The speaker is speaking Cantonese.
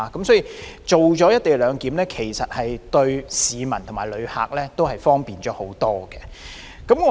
所以，實施"一地兩檢"對市民和旅客都帶來更多方便。